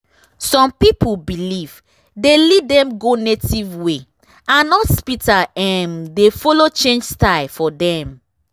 some people belief dey lead dem go native way and hospital um dey follow change style for dem.